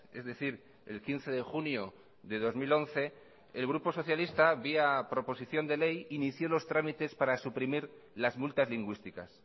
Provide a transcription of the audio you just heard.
es decir el quince de junio de dos mil once el grupo socialista vía proposición de ley inició los trámites para suprimir las multas lingüísticas